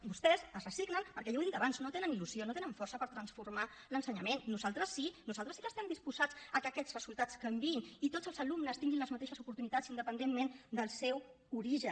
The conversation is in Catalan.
vostès s’hi resignen perquè jo ho he dit abans no tenen il·lusió no tenen força per transformar l’ensenyament nosaltres sí nosaltres sí que estem disposats a que aquests resultats canviïn i tots els alumnes tinguin les mateixes oportunitats independentment del seu origen